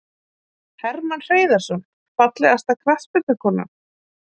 Hermann Hreiðarsson Fallegasta knattspyrnukonan?